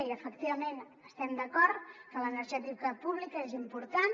i efectivament estem d’acord que l’energètica pública és important